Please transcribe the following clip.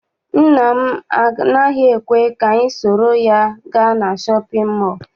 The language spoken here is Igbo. Nna m anaghị ekwe ka anyị soro ya gaa na shọpịn mọọ.